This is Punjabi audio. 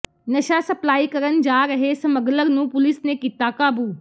ਨਸ਼ਾ ਸਪਲਾਈ ਕਰਨ ਜਾ ਰਹੇ ਸਮੱਗਲਰ ਨੂੰ ਪੁਲਿਸ ਨੇ ਕੀਤਾ ਕਾਬੂ